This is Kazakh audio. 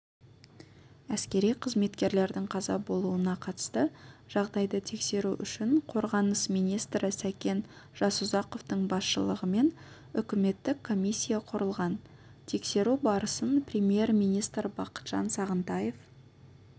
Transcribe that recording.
әскери қызметкерлердің қаза болуына қатысты жағдайды тексеру үшін қорғаныс министрі сәкен жасұзақовтың басшылығымен үкіметтік комиссия құрылған тексеру барысын премьер-министр бақытжан сағынтаев